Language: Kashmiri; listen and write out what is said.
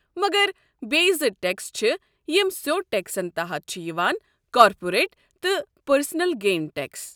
مگر بیٚیہِ زٕ ٹٮ۪کس چھِ یم سیوٚد ٹٮ۪کسن تحت چھِ یوان، کارپوریٹ تہٕ پرسنل گین ٹٮ۪کس۔